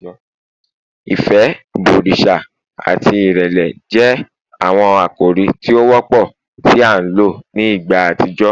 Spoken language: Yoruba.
Ifẹ, ibọriṣa ati irẹlẹ jẹ awọn akori ti o wọpọ ti a lo ni igba atijọ